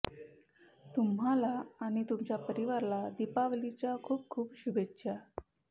तुम्हाला आणि तुमच्या परिवाराला दिपावलीच्या खूप खूप शुभेच्छा